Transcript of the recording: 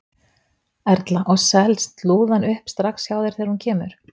Erla: Og selst lúðan upp strax hjá þér þegar hún kemur?